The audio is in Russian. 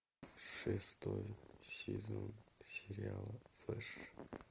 шестой сезон сериала флэш